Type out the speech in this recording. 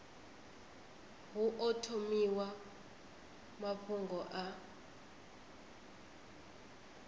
hu o thomiwa mafhungo a